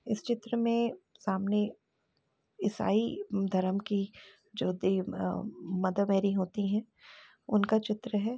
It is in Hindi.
इस चित्र में सामने ईसाई धर्म की जो देव मदर मेरी होती हैं उनका चित्र है।